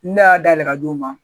Ne y'a dayɛlɛ ka di o ma